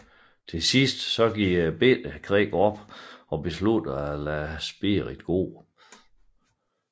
Til sidst giver Little Creek op og beslutter sig for at lade Spirit gå